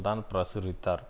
தான் பிரசுரித்தார்